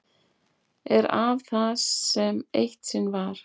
Er af það sem eitt sinn var.